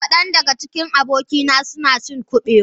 Kadan daga cikin abokaina suna cin Kubewa